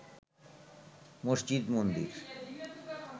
মসজিদ মন্দির